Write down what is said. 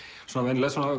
svona